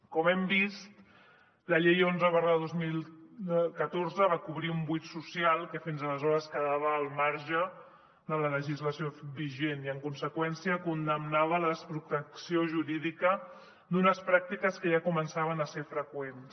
com hem vist la llei onze dos mil catorze va cobrir un buit social que fins aleshores quedava al marge de la legislació vigent i en conseqüència condemnava la desprotecció jurídica d’unes pràctiques que ja començaven a ser freqüents